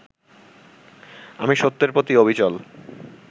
আমি সত্যের প্রতি অবিচল